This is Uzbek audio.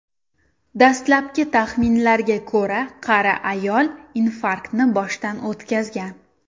Dastlabki taxminlarga ko‘ra, qari ayol infarktni boshdan o‘tkazgan.